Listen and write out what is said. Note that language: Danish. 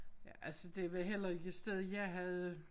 Ja altså det var heller ikke et sted jeg havde